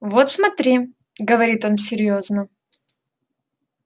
вот смотри говорит он серьёзно